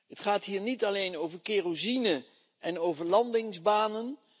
Het gaat hier niet alleen over kerosine en over landingsbanen.